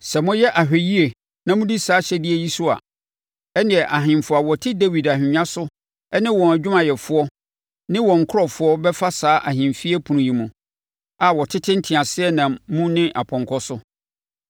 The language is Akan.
Sɛ moyɛ ahwɛyie na modi saa ahyɛdeɛ yi so a, ɛnneɛ ahemfo a wɔte Dawid ahennwa so ne wɔn adwumayɛfoɔ ne wɔn nkurɔfoɔ bɛfa saa ahemfie apono yi mu, a wɔtete nteaseɛnam mu ne apɔnkɔ so.